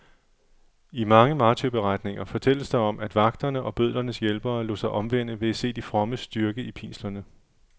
I mange martyrberetninger fortælles der om, at vagterne og bødlernes hjælpere lod sig omvende ved at se de frommes styrke i pinslerne.